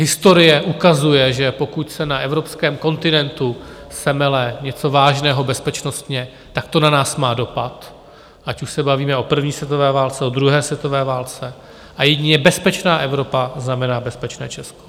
Historie ukazuje, že pokud se na evropském kontinentu semele něco vážného bezpečnostně, tak to na nás má dopad, ať už se bavíme o první světové válce, o druhé světové válce, a jedině bezpečná Evropa znamená bezpečné Česko.